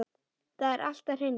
Það er allt að hrynja.